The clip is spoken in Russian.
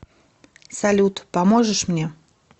салют поможешь мне